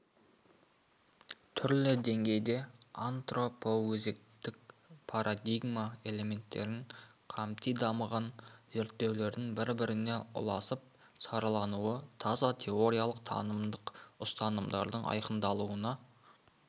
түрлі деңгейде антропоөзектік парадигма элементтерін қамти дамыған зерттеулердің бір-біріне ұласып саралануы таза теориялық танымдық ұстанымдардың айқындалуына